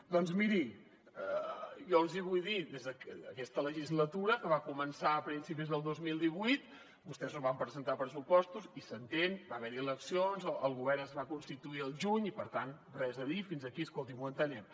doncs miri jo els hi vull dir des d’aquesta legislatura que va començar a principis del dos mil divuit vostès no van presentar pressupostos i s’entén va haver hi eleccions el govern es va constituir al juny i per tant res a dir fins aquí escolti ho entenem